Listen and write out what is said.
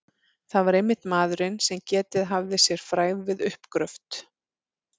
Það var einmitt maðurinn, sem getið hafði sér frægð við uppgröft